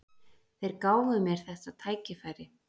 Þeir gáfu mér þetta tækifæri